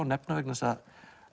nefna vegna þess að